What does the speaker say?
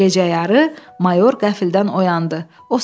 Gecə yarı mayor qəfildən oyandı.